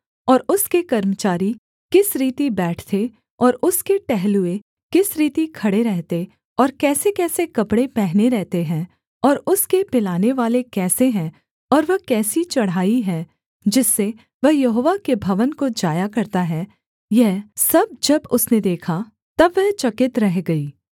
और उसके कर्मचारी किस रीति बैठते और उसके टहलुए किस रीति खड़े रहते और कैसेकैसे कपड़े पहने रहते हैं और उसके पिलानेवाले कैसे हैं और वह कैसी चढ़ाई है जिससे वह यहोवा के भवन को जाया करता है यह सब जब उसने देखा तब वह चकित रह गई